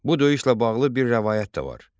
Bu döyüşlə bağlı bir rəvayət də var.